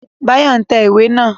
Báyọ̀ n tẹ̀ iwé naa